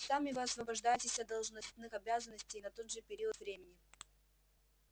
сами вы освобождаетесь от должностных обязанностей на тот же период времени